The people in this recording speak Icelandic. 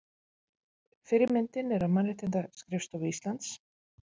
Fyrri myndin er af Mannréttindaskrifstofu Íslands.